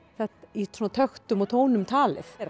í töktum og tónum talið